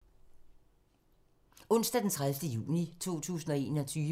Onsdag d. 30. juni 2021